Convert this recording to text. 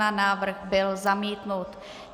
Návrh byl zamítnut.